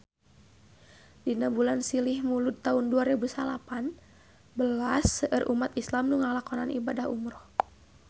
Dina bulan Silih Mulud taun dua rebu salapan belas seueur umat islam nu ngalakonan ibadah umrah